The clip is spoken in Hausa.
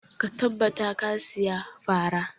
Ka tabbata ka saya fara!